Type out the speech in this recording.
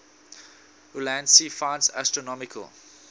ulansey finds astronomical